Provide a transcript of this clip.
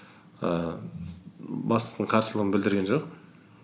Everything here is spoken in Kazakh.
ііі бастығым қарсылығын білдірген жоқ